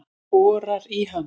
Borar í hana.